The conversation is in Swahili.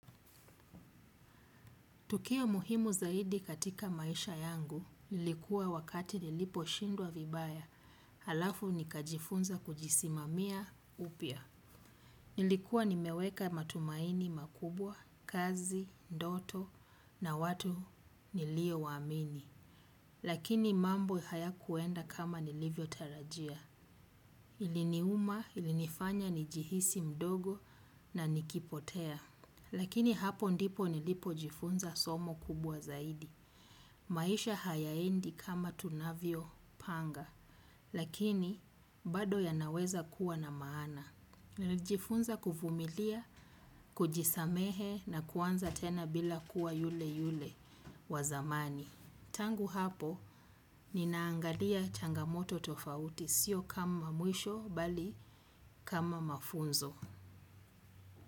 Tukio muhimu zaidi katika maisha yangu, nilikuwa wakati nilipo shindwa vibaya, alafu nika jifunza kujisimamia upya. Nilikuwa nimeweka matumaini makubwa, kazi, ndoto na watu nilio waamini. Lakini mambo hayakuenda kama nilivyo tarajia. Iliniuma, ilinifanya, nijihisi mdogo na nikipotea. Lakini hapo ndipo nilipo jifunza somo kubwa zaidi. Maisha hayaendi kama tunavyo panga, lakini bado ya naweza kuwa na maana. Nilijifunza kuvumilia kujisamehe na kuanza tena bila kuwa yule yule wa zamani. Tangu hapo, ninaangalia changamoto tofauti, sio kama mwisho, bali kama mafunzo.